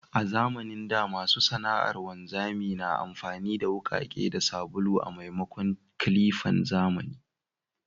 A zamanin da, masu sana’ar wanzami na amfani da wukake da sabulu a maimakon clippan zamani.